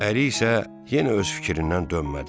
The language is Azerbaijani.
Əri isə yenə öz fikrindən dönmədi.